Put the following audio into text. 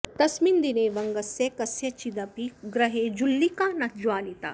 तस्मिन् दिने वङ्गस्य कस्यचिदपि गृहे जुल्लिका न ज्वालिता